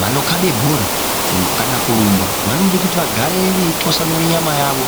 Vanokhabe bhora kana kurumba vanode kuti vagare veitwasanure nyama yavo.